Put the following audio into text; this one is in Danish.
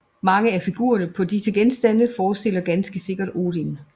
Mange af figurerne på disse genstande forestiller ganske sikkert Odin